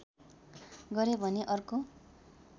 गरे भने अर्को